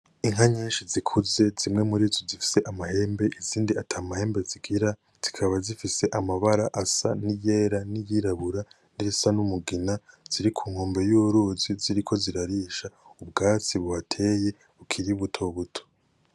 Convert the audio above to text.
Inka nyinshi zikuze zimwe murizo zifise amahembe izindi atamahembe zigira zikaba zifise amabara asa niyera niyirabura nirisa n'umugina ziri ku nkombe y'uruzi ziriko zirarisha ubwatsi buhateye bukiri butobuto.